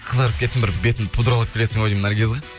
қызарып кеттің бір бетіңді пудралап келесің ау деймін наргиза